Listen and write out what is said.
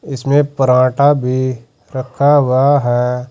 इसमें परांठा भी रखा हुआ है।